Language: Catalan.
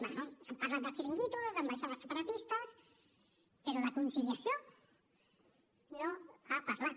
bé han parlat de xiringuitos d’ambaixades separatistes però de conciliació no n’ha parlat